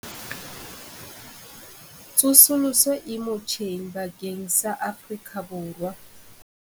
Tsosoloso e motjheng bakeng sa Afrika Borwa.